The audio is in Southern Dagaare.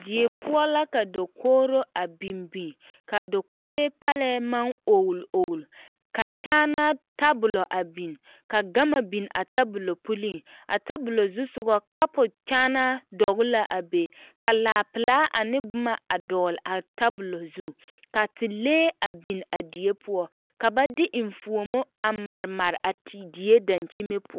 Die poɔ la ka dakogreo a biŋ biŋ ka a dakogree parɛɛ maŋ ogle ogle ka kyaanaa tabola a biŋ ka gama biŋ a tabola puliŋ a tabola zu soga a kapo kyaanaa dɔgle la a be ka laapelaa ane boma a dɔgle a tabola zu ka telee a biŋ a die poɔ ka ba de eŋfuomo mare mare a deɛ dankyinime poɔ.